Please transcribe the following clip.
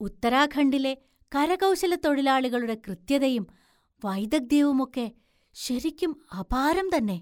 ഉത്തരാഘണ്ടിലെ കരകൗശലത്തൊഴിലാളികളുടെ കൃത്യതയും വൈദഗ്ധ്യവും ഒക്കെ ശരിക്കും അപാരം തന്നെ.